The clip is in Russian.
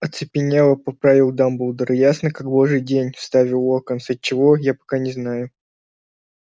оцепенела поправил дамблдор ясно как божий день вставил локонс от чего я пока не знаю